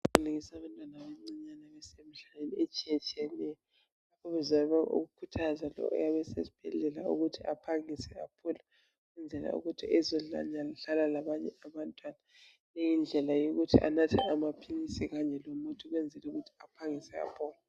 Kulengiselwe abantwana abancinyane, abasemhlabeni, etshiyatshiyeneyo. Ezama ukukhuthaza lo oyabe esesibhedlela. Ukuthi aphangise aphole. Ukuze azedlala labanye abantwana. Yiyo indlela yokuthi anathe masinyane amaphilisi kanye lomuthi. Ukwenzela ukuthi aphangise aphole.